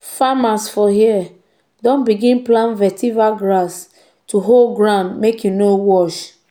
farmers for here don begin plant vetiver grass to hold ground make e no wash.